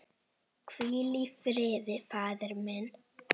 Hvíl í friði faðir minn.